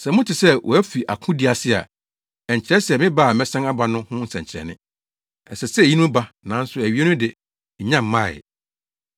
Sɛ mote sɛ wɔafi akodi ase a, ɛnkyerɛ me ba a mɛsan aba no ho nsɛnkyerɛnne. Ɛsɛ sɛ eyinom ba, nanso awiei no de, ennya mmae.